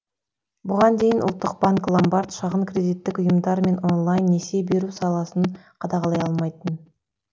бұған дейін ұлттық банк ломбард шағын кредиттік ұйымдар мен онлайн несие беру саласын қадағалай алмайтын